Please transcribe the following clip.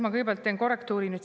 Ma kõigepealt teen korrektuuri.